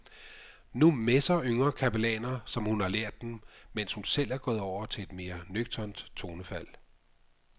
Nu messer yngre kapellaner som hun har lært dem, mens hun selv er gået over til et mere nøgternt tonefald.